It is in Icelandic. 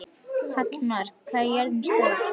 Hallmann, hvað er jörðin stór?